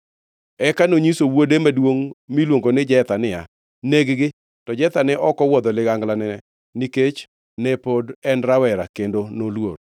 Eka nonyiso wuode maduongʼ miluongo ni Jetha niya, “Neg-gi!” To Jetha ne ok owuodho liganglane, nikech ne pod en rawera kendo noluor.